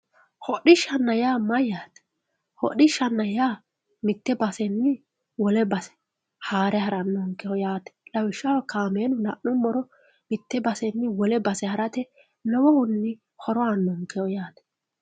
Hodhishana ya mayate hodhishana ya mitte basenni wolle base hare haranonkehi yatte kamela lanumoro mitte basenni wolle base harate lowihuni horo anonkehi yate